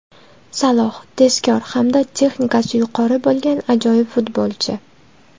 Saloh – tezkor hamda texnikasi yuqori bo‘lgan ajoyib futbolchi.